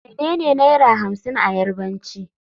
Menene Naira hamsin a Yarbanci.